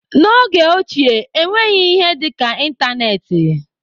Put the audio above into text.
N'oge ochie, enweghị ihe dịka ịntanetị.